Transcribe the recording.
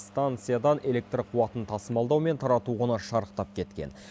станциядан электр қуатын тасымалдау мен тарату құны шарықтап кеткен